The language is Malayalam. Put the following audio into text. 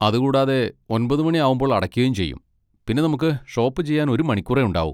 അത് കൂടാതെ, ഒൻപത് മണി ആവുമ്പൊൾ അടക്കുകയും ചെയ്യും, പിന്നെ നമുക്ക് ഷോപ്പ് ചെയ്യാൻ ഒരു മണിക്കൂറേ ഉണ്ടാവൂ.